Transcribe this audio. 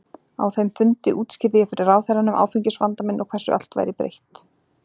Á þeim fundi útskýrði ég fyrir ráðherranum áfengisvanda minn og hversu allt væri breytt.